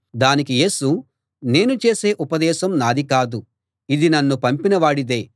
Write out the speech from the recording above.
దానికి యేసు నేను చేసే ఉపదేశం నాది కాదు ఇది నన్ను పంపిన వాడిదే